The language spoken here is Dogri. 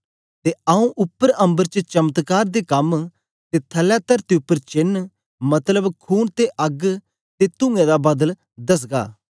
ते आंऊँ उपर अम्बर च चमत्कार दे कम ते थलै तरती उपर चेन्न मतलब खून ते अग्ग ते तूंऐं दा बदल दसगा